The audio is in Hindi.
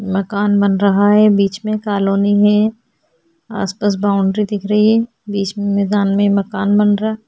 मकान बन रहा है बीच में कॉलोनी है आसपास बाउंड्री दिख रही है बीच में मैदान में मकान बन रहा--